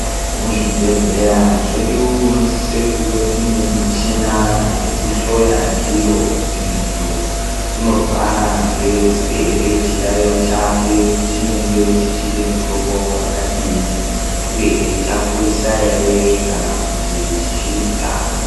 Muzvibhehleya zvedu munosise kuve muine michina yekuhloya ndiyo kuti muntu unorwara ngei uyehe chiyayo chake chinenge chichide mutombo wakadini uyehe chakurisa here kana kuti chichiri kutanga.